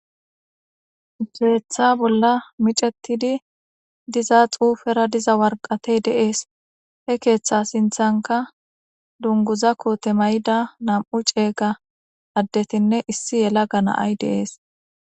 ufiretha bolla micetidi diza xuufera diza warqatey deees he keeththa sinthanka dunguza koote may7ida nam7u ceeyga addetinne issi yela ganaay deees